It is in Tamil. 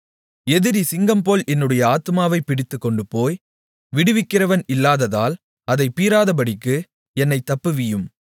எதிரி சிங்கம்போல் என்னுடைய ஆத்துமாவைப் பிடித்துக்கொண்டுபோய் விடுவிக்கிறவன் இல்லாததால் அதைப் பீறாதபடிக்கு என்னைத் தப்புவியும்